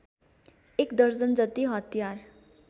एक दर्जनजति हतियार